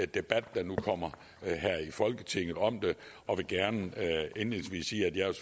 debat der nu kommer her i folketinget om det og vil gerne indledningsvis sige at jeg